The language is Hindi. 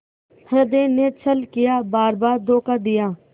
हृदय ने छल किया बारबार धोखा दिया